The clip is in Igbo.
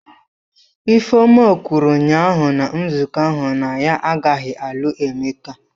Ifeoma kwuru ụnyahụ na nzukọ ahụ na ya agaghị alụ Emeka.